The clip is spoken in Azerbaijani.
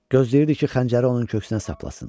Gözləyirdi ki, xəncəri onun köksünə saplasın.